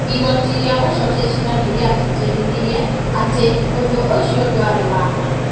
Igoti rĩa gũcokia cira nĩ rĩatĩtĩrithirie atĩ ũndũ ũcio ndwarĩ wa ma,